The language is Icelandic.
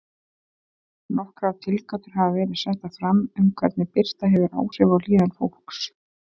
Nokkrar tilgátur hafa verið settar fram um hvernig birta hefur áhrif á líðan fólks.